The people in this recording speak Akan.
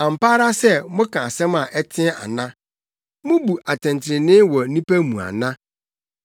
So mo asodifo, ampa ara sɛ, moka asɛm a ɛteɛ ana? Mubu atɛntrenee wɔ nnipa mu ana?